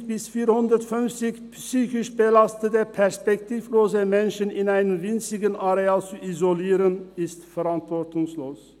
350 bis 450 psychisch belastete, perspektivlose Menschen in einem winzigen Areal zu isolieren, ist verantwortungslos.